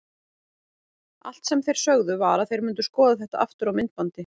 Allt sem þeir sögðu var að þeir myndu skoða þetta aftur á myndbandi.